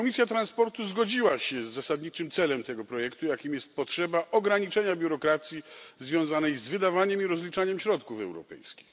Komisja transportu zgodziła się z zasadniczym celem tego projektu, jakim jest potrzeba ograniczenia biurokracji związanej z wydawaniem i rozliczaniem środków europejskich.